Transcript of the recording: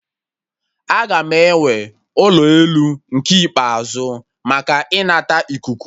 Aga m ewe ụlọ elu nke ikpeazụ maka ịnata ikuku